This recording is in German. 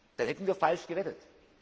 Dann hätten wir falsch gewettet.